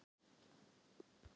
Hvernig virka kolsýru slökkvitæki?